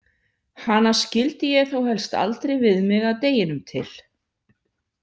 Hana skildi ég þó helst aldrei við mig að deginum til.